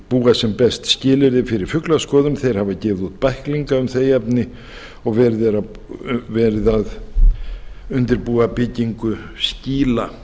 búa sem best skilyrði fyrir fuglaskoðun þeir hafa gefið út bæklinga um þau efni og verið er að undirbúa byggingu skýla